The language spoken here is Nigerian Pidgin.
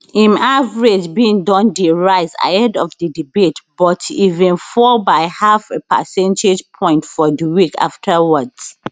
im average bin don dey rise ahead of di debate but e bin fall by half a percentage point for di week afterwards